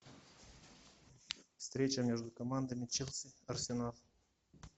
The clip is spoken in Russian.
встреча между командами челси арсенал